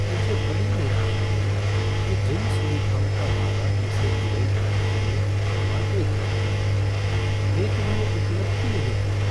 मुझे बड़ी निराशा हुई कि जिन सुविधाओं का वादा हमसे इवैंट मैनेजर ने शुरुआत में किया था वे तो हमें उपलब्ध ही नहीं हुईं।